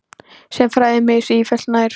Sem færði mig sífellt nær